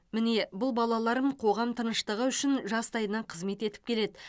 міне бұл балаларым қоғам тыныштығы үшін жастайынан қызмет етіп келеді